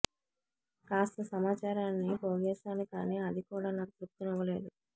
కాస్త సమాచారాన్ని పోగేశాను కానీ అది కూడా నాకు తృప్తి నివ్వలేదు